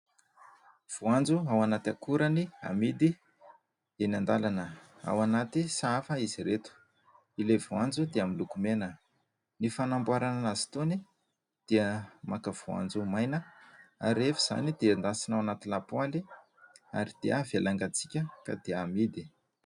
Voanjo ao anaty akorany amidy eny an-dalana. Ao anaty sahafa izy ireto, ilay voanjo dia miloko mena. Ny fanamboarana aza itony dia maka voanjo maina ary rehefa izany dia endasina ao anaty lapoaly ary dia avela angantsiaka ka dia amidy.